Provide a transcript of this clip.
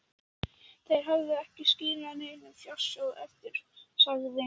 Þeir hafi ekki skilið neinn fjársjóð eftir, sagði